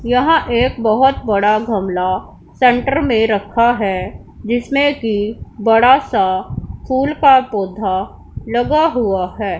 यहां एक बहोत बड़ा गमला सेंटर में रखा है जिसने की बड़ा सा फूल का पौधा लगा हुआ है।